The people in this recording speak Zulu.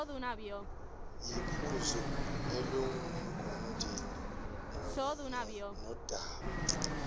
yiphuzu eliqondene nodaba